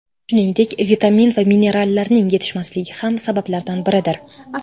Shuningdek, vitamin va minerallarning yetishmasligi ham sabablardan biridir.